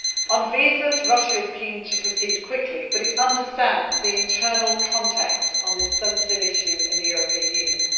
On visas, Russia is keen to proceed quickly, but it understands the internal context on this sensitive issue in the European Union.